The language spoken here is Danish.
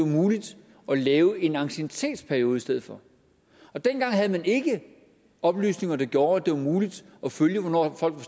muligt at lave en anciennitetsperiode i stedet for dengang havde man ikke oplysninger der gjorde at det var muligt at følge hvornår folk var